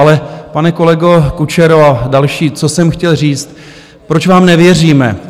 Ale, pane kolego Kučero a další, co jsem chtěl říct, proč vám nevěříme.